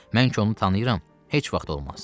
Mən ki onu tanıyıram, heç vaxt olmaz.